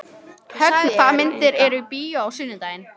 Högna, hvaða myndir eru í bíó á sunnudaginn?